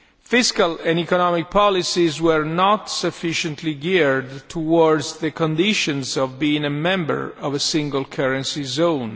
Fiscal and economic policies were not sufficiently geared towards the conditions of being a member of a single currency zone.